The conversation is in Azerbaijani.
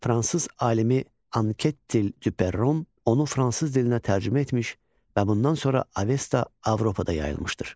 Fransız alimi Anketti Duperron onu Fransız dilinə tərcümə etmiş və bundan sonra Avesta Avropada yayılmışdır.